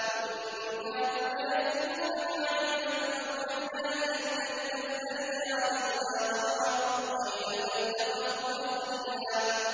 وَإِن كَادُوا لَيَفْتِنُونَكَ عَنِ الَّذِي أَوْحَيْنَا إِلَيْكَ لِتَفْتَرِيَ عَلَيْنَا غَيْرَهُ ۖ وَإِذًا لَّاتَّخَذُوكَ خَلِيلًا